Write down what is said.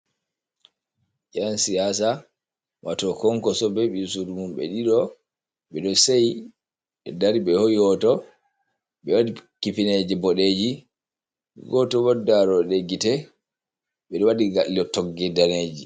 Ƴan siyasa wato Kwankoso be ɓii sudu mum ɓe ɗiɗo, ɓeɗo seyi ɓe dari ɓe hoyi hoto, ɓe waɗi kifineje bodeji goto wod daroɗe gite, ɓeɗo waɗi gailo togge daneji.